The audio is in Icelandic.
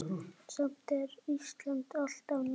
Samt er Ísland alltaf nærri.